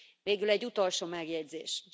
Végül egy utolsó megjegyzés.